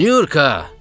Nyurka!